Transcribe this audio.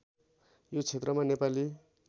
यो क्षेत्रमा नेपाली